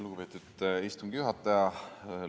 Lugupeetud istungi juhataja!